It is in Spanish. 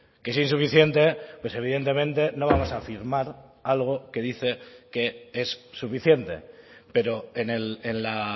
que es insuficiente pues evidentemente no vamos a firmar algo que dice que es suficiente pero en la